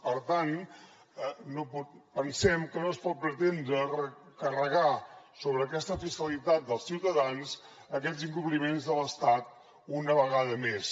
per tant pensem que no es pot pretendre carregar sobre aquesta fiscalitat dels ciutadans aquests incompliments de l’estat una vegada més